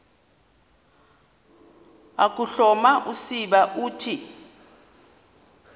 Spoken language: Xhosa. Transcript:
ukuhloma usiba uthi